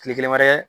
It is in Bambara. Kile kelen wɛrɛ